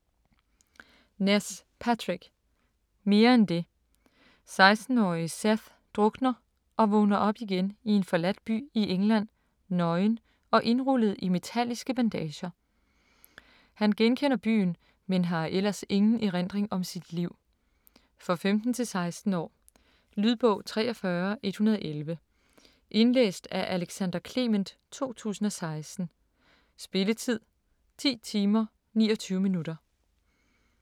Ness, Patrick: Mere end det 16-årige Seth drukner og vågner op igen i en forladt by i England, nøgen og indrullet i metalliske bandager. Han genkender byen, men har ellers ingen erindring om sit liv. For 15-16 år. Lydbog 43111 Indlæst af Alexander Clement, 2016. Spilletid: 10 timer, 29 minutter.